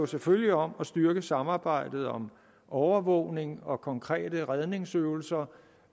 selvfølgelig om at styrke samarbejdet om overvågning og konkrete redningsøvelser